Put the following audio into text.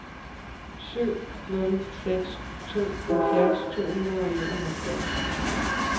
syv nul seks to halvfjerds to hundrede og enoghalvfjerds